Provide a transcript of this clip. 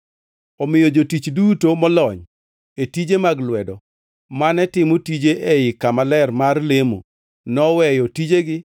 Omiyo jotich duto molony e tije mag lwedo mane timo tije ei kama ler mar lemo noweyo tijegi